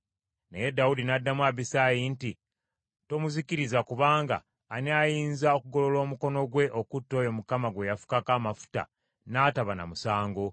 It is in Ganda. Naye Dawudi n’addamu Abisaayi nti, “Tomuzikiriza, kubanga ani ayinza okugolola omukono gwe okutta oyo Mukama gwe yafukako amafuta, n’ataba na musango?